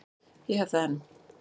Ég hef það enn.